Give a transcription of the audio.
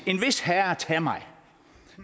en vis herre tage mig